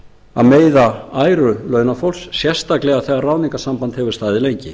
að meiða æru launafólks sérstaklega þegar ráðningarsamband hefur staðið lengi